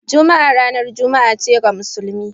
Juma'a ranar juma'a ce ga musulmi.